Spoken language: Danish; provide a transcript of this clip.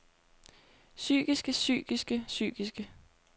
psykiske psykiske psykiske